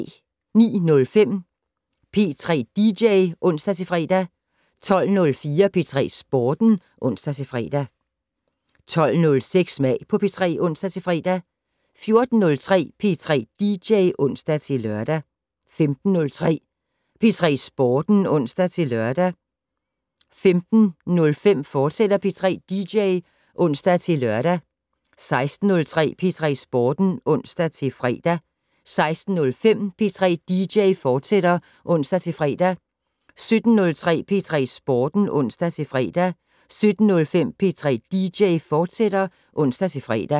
09:05: P3 dj (ons-fre) 12:04: P3 Sporten (ons-fre) 12:06: Smag på P3 (ons-fre) 14:03: P3 dj (ons-lør) 15:03: P3 Sporten (ons-lør) 15:05: P3 dj, fortsat (ons-lør) 16:03: P3 Sporten (ons-fre) 16:05: P3 dj, fortsat (ons-fre) 17:03: P3 Sporten (ons-fre) 17:05: P3 dj, fortsat (ons-fre)